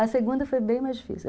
A segunda foi bem mais difícil.